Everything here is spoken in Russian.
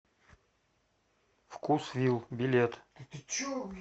вкусвилл билет